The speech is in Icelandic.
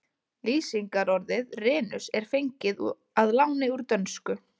Lýsingarorðið renus er fengið að láni úr dönsku.